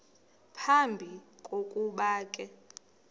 phambi kokuba ke